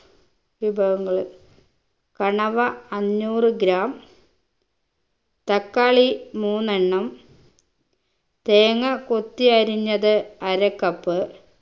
വിഭവങ്ങൾ കണവ അഞ്ഞൂറ് gram തക്കാളി മൂന്നെണ്ണം തേങ്ങാ കൊത്തിയരിഞ്ഞത് അര cup